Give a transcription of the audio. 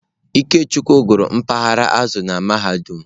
Ikechukwu gụrụ mpaghara azụ̀ na mahadum.